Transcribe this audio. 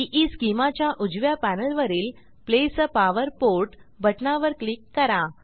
ईस्केमा च्या उजव्या पॅनेलवरील प्लेस आ पॉवर पोर्ट बटना वर क्लिक करा